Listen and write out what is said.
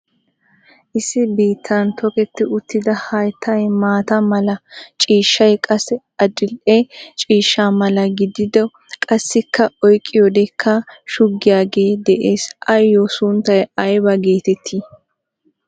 Issi biittan toketti uttida hayttay maata mala ciishay qassi adidhe ciishsha mala gidido qassikka oyqqiyoodekka shuggiyaagee de'ees. Ayyoo sunttay aybaa geetettii?